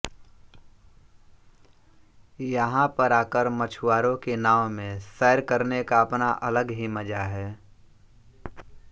यहां पर आकर मछुवारों की नाव में सैर करने का अपना अलग ही मजा है